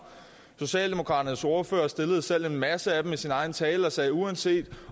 socialdemokraternes ordfører stillede selv en masse af dem i sin egen tale og sagde at uanset